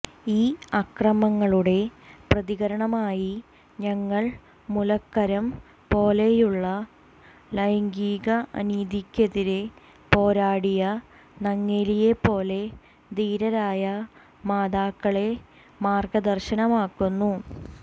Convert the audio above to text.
ഈ ആക്രമങ്ങളുടെ പ്രതികരണമായി ഞങ്ങൾ മുലക്കരം പോലെയുള്ള ലൈംഗിക അനീതിയ്ക്കെതിരെ പോരാടിയ നങ്ങേലിയെപ്പോലെ ധീരരായ മാതാക്കളെ മാർഗ്ഗദർശനമാക്കുന്നു